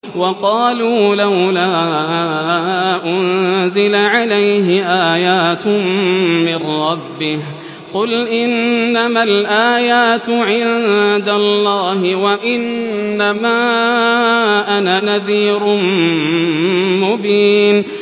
وَقَالُوا لَوْلَا أُنزِلَ عَلَيْهِ آيَاتٌ مِّن رَّبِّهِ ۖ قُلْ إِنَّمَا الْآيَاتُ عِندَ اللَّهِ وَإِنَّمَا أَنَا نَذِيرٌ مُّبِينٌ